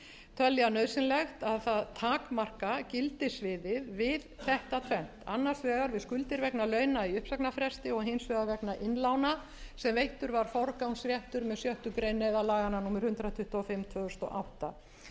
telja nauðsynlegt að takmarka gildissviðið við þetta tvennt annars vegar við skuldir vegna launa í uppsagnarfresti og hins vegar vegna innlána sem veittur var forgangsréttur með sjöttu grein neyðarlaganna númer hundrað tuttugu og fimm tvö þúsund og átta